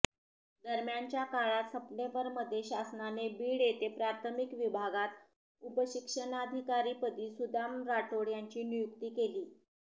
दरम्यानच्या काळात सप्टेंबरमध्ये शासनाने बीड येथे प्राथमिक विभागात उपशिक्षणाधिकारी पदी सुदाम राठोड यांची नियुक्ती केली